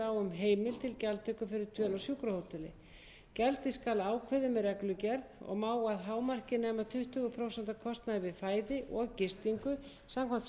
sjúkrahóteli gjaldið skal ákveðið með reglugerð og má að hámarki nema tuttugu prósent af kostnaði við fæði og gistingu samkvæmt